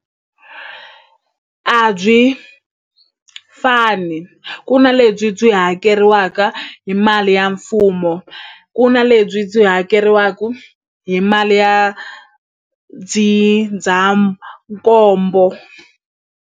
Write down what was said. A byi fani ku na lebyi byi hakeriwaka hi mali ya mfumo ku na lebyi byi hakeriwaku hi mali ya ndzindzakhombo.